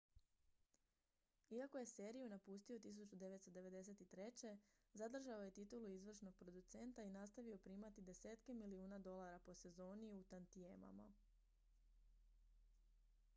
iako je seriju napustio 1993 zadržao je titulu izvršnog producenta i nastavio primati desetke milijuna dolara po sezoni u tantijemama